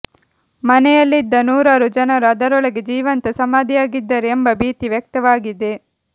ಮನೆಯಲ್ಲಿದ್ದ ನೂರಾರು ಜನರು ಅದರೊಳಗೆ ಜೀವಂತ ಸಮಾಧಿಯಾಗಿದ್ದಾರೆ ಎಂಬ ಭೀತಿ ವ್ಯಕ್ತವಾಗಿದೆ